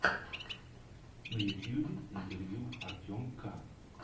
на ютьюбе интервью артем к